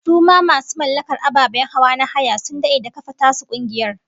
Su ma masu mallakar ababen hawa na haya sun dade da kafa tasu kungiyar